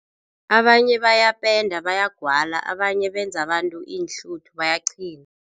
Abanye bayapenda bayagwala. Abanye benza abantu iinhluthu bayaqhina.